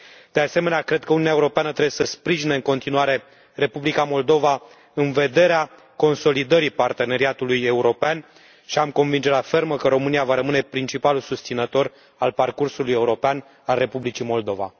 De asemenea, cred că Uniunea Europeană trebuie să sprijine în continuare Republica Moldova în vederea consolidării parteneriatului european și am convingerea fermă că România va rămâne principalul susținător al parcursul european al Republicii Moldova.